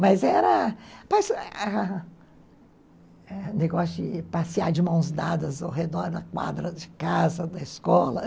Mas era um negócio de passear de mãos dadas ao redor da quadra de casa, da escola.